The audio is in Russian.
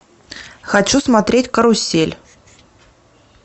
хочу смотреть карусель